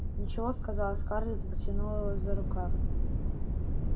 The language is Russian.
ничего сказала скарлетт и потянула его за рукав